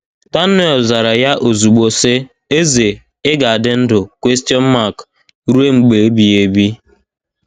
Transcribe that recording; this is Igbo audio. Daniel zara ya ozugbo, sị: “ Eze, ị ga - adị ndụ ruo mgbe ebighị ebi.